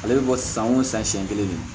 Ale bɛ bɔ san o san siɲɛ kelen de